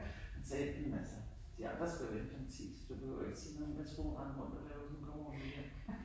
Han sagde jamen altså de andre skal jo være hjemme klokken 10 så du behøver ikke sige noget hvad tror du hun render rundt og laver hun kommer vel hjem